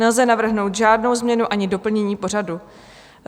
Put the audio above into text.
Nelze navrhnout žádnou změnu ani doplnění pořadu.